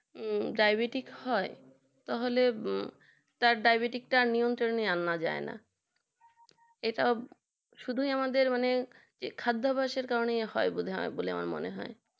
diabetes হয় তার ডায়াবেটিসটা নিয়ন্ত্রণ আনা যায় না এটা শুধু আমাদের মানে খাদ্যাভাসের কারণে হয় মনে হয় আমার